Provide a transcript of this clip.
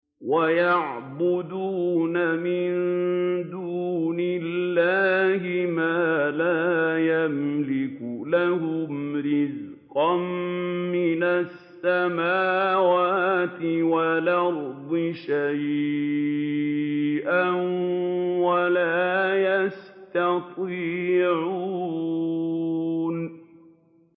وَيَعْبُدُونَ مِن دُونِ اللَّهِ مَا لَا يَمْلِكُ لَهُمْ رِزْقًا مِّنَ السَّمَاوَاتِ وَالْأَرْضِ شَيْئًا وَلَا يَسْتَطِيعُونَ